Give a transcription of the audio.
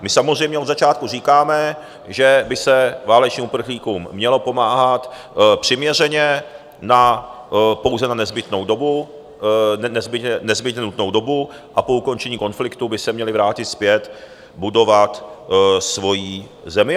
My samozřejmě od začátku říkáme, že by se válečným uprchlíkům mělo pomáhat přiměřeně, pouze na nezbytnou dobu, a po ukončení konfliktu by se měli vrátit zpět budovat svoji zemi.